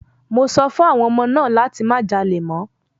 Mo sọ fún àwọn ọmọ náà láti má jalè mọ́!